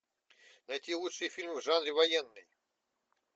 найти лучшие фильмы в жанре военный